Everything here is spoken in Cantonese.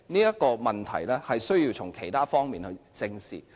這個問題須從其他方面正視。